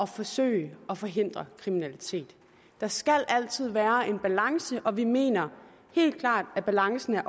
forsøge at forhindre kriminalitet der skal altid være en balance og vi mener helt klart at balancen